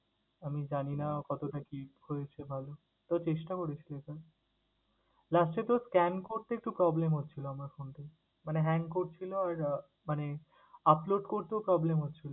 আমি জানিনা কতটা কি হয়েছে ভালো তবে চেষ্টা করেছি লেখার। Last এ তো scan করতে একটু problem হচ্ছিলো আমার ফোনটা থেকে। মানে hang করছিলো, আর আহ মানে upload করতেও problem হচ্ছিলো।